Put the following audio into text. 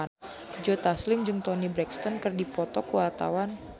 Joe Taslim jeung Toni Brexton keur dipoto ku wartawan